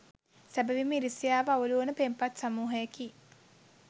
සැබවින්ම ඉරිසියාව අවුලුවන පෙම්පත් සමූහයකි.